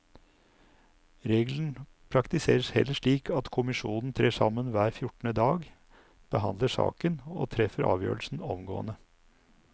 Regelen praktiseres heller slik at kommisjonen trer sammen hver fjortende dag, behandler saken og treffer avgjørelsen omgående.